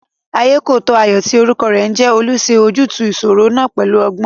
Ayékòótọ́ Ayọ̀ tí orúkọ rẹ̀ ń jẹ́ Olú ṣe ojútùú ìṣòro náà pẹ̀lú ọgbọ́n